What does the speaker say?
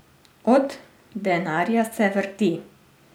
Od denarja se vrti.